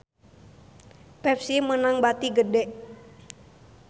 Pepsi meunang bati gede